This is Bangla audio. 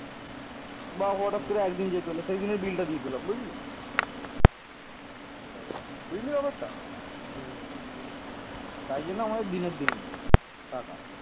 তাই জন্য আমাদের দিনের দিন টাকা